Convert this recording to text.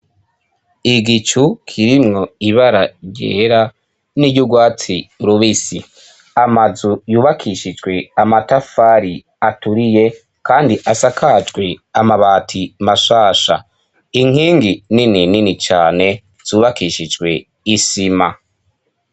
Igicu kirimwo ibara ryera n'iry'ugwatsi rubisi, amazu yubakishijwe amatafari aturiye kandi asakajwe amabati mashasha, inkingi nini nini cane zubakishijwe isima.